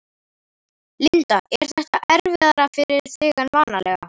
Linda: Er þetta erfiðara fyrir þig en vanalega?